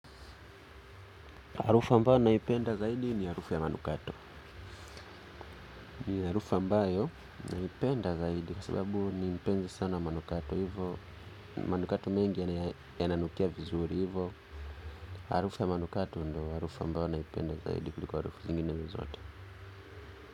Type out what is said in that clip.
Harufua mbayo naipenda zaidi ni harufu ya manukato. Harufa mbayo naipenda zaidi. Kwa sababu ni mpenzi sana manukato. Hivyo, manukato mengi yananukia vizuri. Hivyo, harufu ya manukato ndiyo harufa mbayo naipenda zaidi. Kuliko harufu zingine zote.